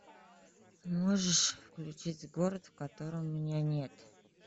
можешь включить город в котором меня нет